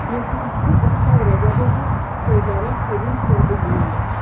Musiqisi Oktay Rəcəbovun, sözləri Sevinc Nurqızınındır.